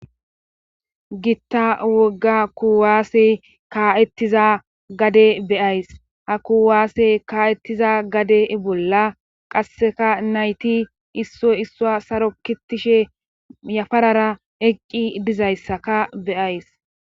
gitta wogga kuwaasse ka7ettiza gade be7ays ha kuwaasse ka7ettiza gade bolla qasseka nayti issoy issuwa saro kitishe yafarara eqqi dizayssaka be7ays.